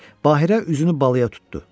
Bahirə üzünü Baluya tutdu.